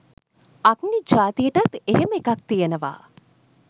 අග්නි ජාතියටත් එහෙම එකක් තියෙනවා.